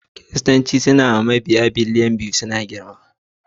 Kiristanci yana da mabiya sama da biliyan 2.4 kuma har yanzu suna girma.